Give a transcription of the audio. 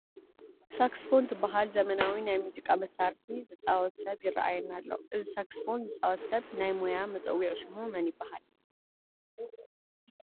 ሳክስፎን ትበሃል ዘመናዊ ናይ ሙዚቃ መሳርሒ ዝፃወት ሰብ ይርአየና ኣሎ፡፡ እዚ ሳክስፎን ዝፃወት ሰብ ናይ ሞያ መፀውዒ ሽሙ መን ይበሃል?